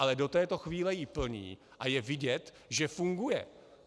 Ale do této chvíli ji plní a je vidět, že funguje.